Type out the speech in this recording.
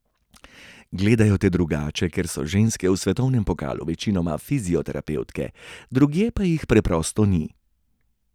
Gledajo te drugače, ker so ženske v svetovnem pokalu večinoma fizioterapevtke, drugje pa jih preprosto ni.